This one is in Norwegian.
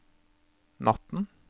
natten